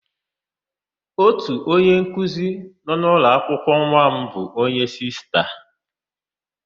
Ótù onyenkuzi nọ n'ụlọakwụkwọ nwa m bụ onye Sista.